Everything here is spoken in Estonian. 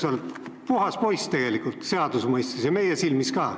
Sa oled puhas poiss seaduse mõistes ja meie silmis ka.